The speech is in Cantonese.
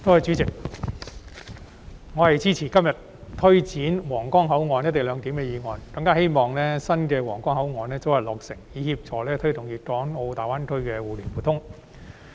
主席，我支持今天這項有關推展新皇崗口岸"一地兩檢"安排的議案，更希望新的皇崗口岸大樓早日落成，以協助推動粵港澳大灣區的互聯互通。